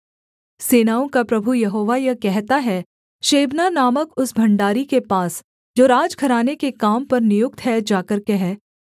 सेनाओं का प्रभु यहोवा यह कहता है शेबना नामक उस भण्डारी के पास जो राजघराने के काम पर नियुक्त है जाकर कह